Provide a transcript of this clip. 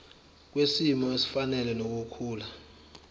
kwisimo esifanele nokukhula